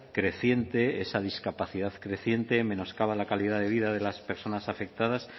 creciente esa discapacidad y menoscaba la calidad de vida de las personas afectadas